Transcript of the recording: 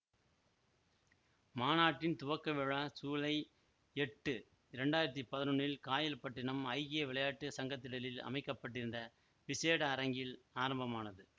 மாநாட்டின் துவக்கவிழா சூலை எட்டு இரண்டாயிரத்தி பதினொன்னில் காயல்பட்டினம் ஐக்கிய விளையாட்டு சங்கத்திடலில் அமைக்க பட்டிருந்த விசேட அரங்கில் ஆரம்பமானது